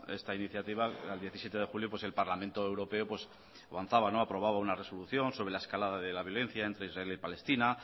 esta iniciativa era el diecisiete de julio pues el parlamento europeo avanzaba aprobaba una resolución sobre la escalada de la violencia entre israel y palestina